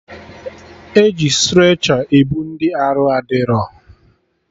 E ji strecha ebu ndị arụ adịrọ